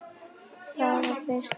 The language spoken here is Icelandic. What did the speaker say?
Það var fyrir slysni.